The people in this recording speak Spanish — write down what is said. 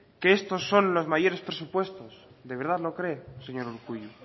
que estos son los mayores presupuestos de verdad lo cree señor urkullu